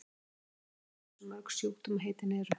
enginn veit í raun hversu mörg sjúkdómaheitin eru